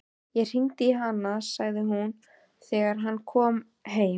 Ég hringdi í hana, sagði hún þegar hann kom heim.